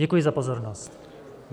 Děkuji za pozornost.